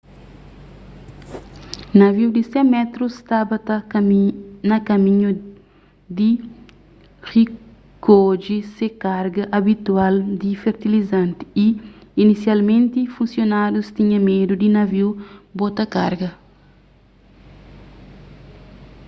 naviu di 100 métrus staba na kaminhu di rikodje se karga abitual di fertilizanti y inisialmenti funsionárius tinha medu di naviu bota karga